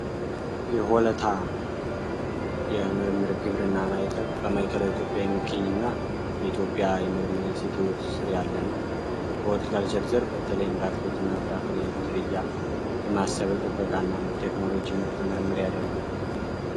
የሆለታ የምርምር ግብርና ማይከል በማይከላ ኢትዮጵያ የሚገኝ እና በኢትዮጵያ የምርምር ኢንስቲትዩት ስር ያለ ነዉ። ሆለታዊ ዘርፍ በተለይም በአትክልት እና ፍራፍሬ ዝርያ ልማት ስር ጥበቃ እና ቴክኖሎጂአዊ ምርጥ ምርምር ያደርጋል።